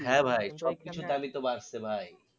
হ্যাঁ ভাই সব কিছুর দামই তো বাড়ছে ভাই